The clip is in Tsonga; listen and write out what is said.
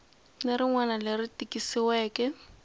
ni rin wana leri tikisiweke